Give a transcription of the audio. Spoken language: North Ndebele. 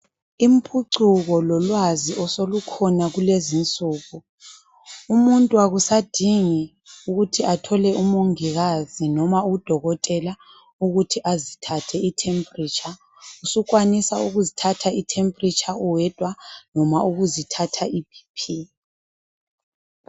Imphucuko lolwazi osolukhona kulezinsuku umuntu akusadingi ukuthi athole uMongikazi noma uDokotela ukuthi azithathe iThempuritsha sukwanisa ukuzithatha iThempuritsha uwedwa noma ukuzithatha iBp.